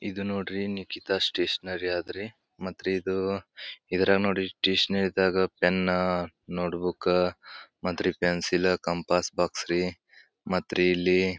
ಇದು ನೋಡ್ರಿ ನಿಕಿತಾ ಸ್ಟೇಷನರಿ ಇದ್ರಿ ಮತ್ತೆ ನೋಡ್ರಿ ಇದು ಸ್ಟೇಷನರಿದಾಗ ಪೆನ್ನು ನೋಟ್ ಬುಕ್ ಮತ್ತೆ ಪೆನ್ಸಿಲ್ ಕಂಪಸ್ ಬಾಕ್ಸ್ ಮತ್ತೆ ರೀ ಇಲ್ಲಿ.